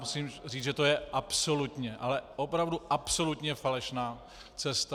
Musím říct, že to je absolutně, ale opravdu absolutně falešná cesta.